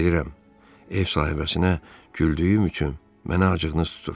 Bilirəm, ev sahibəsinə güldüyüm üçün mənə acığınız tutur.